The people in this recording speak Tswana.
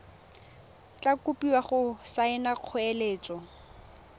tla kopiwa go saena kgoeletso